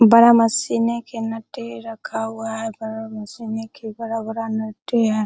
बड़ा मशीने के नटे रखा हुआ है बड़ा मशीने के बड़ा-बड़ा नटे है।